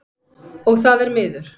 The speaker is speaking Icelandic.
Og það er miður.